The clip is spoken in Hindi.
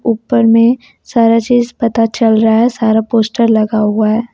उपर में सारा चीज पता चल रहा है सारा पोस्टर लगा हुआ है।